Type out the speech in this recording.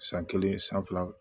San kelen san fila